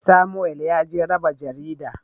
Samuwel yaje raba jaridan.